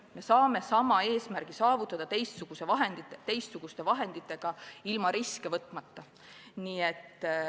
Me saame sama eesmärgi saavutada teistsuguste vahenditega ja ilma riske võtmata.